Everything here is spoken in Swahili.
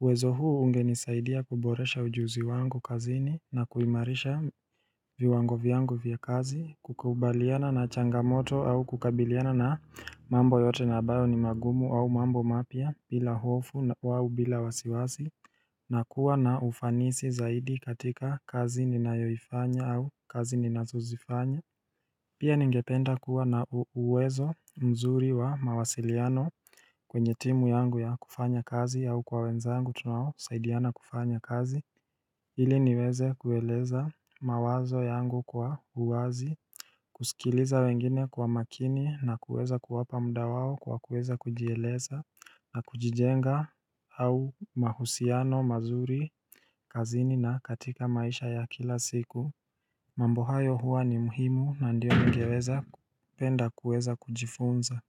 uwezo huu unge nisaidia kuboresha ujuzi wangu kazini na kuimarisha viungo vyangu vya kazi kukubaliana na changamoto au kukabiliana na mambo yote nabayo ni magumu au mambo mapia bila hofu wau bila wasiwasi na kuwa na ufanisi zaidi katika kazi ninayo ifanya au kazi ninazo zifanya Pia ningependa kuwa na uwezo mzuri wa mawasiliano kwenye timu yangu ya kufanya kazi au kwa wenzangu tunawo saidiana kufanya kazi ili niweze kueleza mawazo yangu kwa uwazi kusikiliza wengine kwa makini na kuweza kuwapa mda wao kwa kuweza kujieleza na kujijenga au mahusiano, mazuri, kazini na katika maisha ya kila siku mambo hayo huwa ni muhimu na ndio ningeweza penda kueza kujifunza.